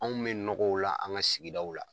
Anw be nɔgɔw la an ka sigida la.